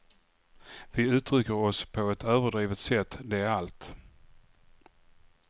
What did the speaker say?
Vi uttrycker oss på ett överdrivet sätt, det är allt.